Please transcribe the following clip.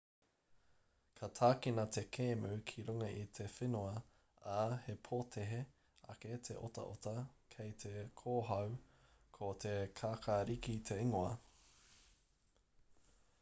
ka tākina te kēmu ki runga i te whenua ā he pōtehe ake te otaota kei te kōhao ko te kākariki te ingoa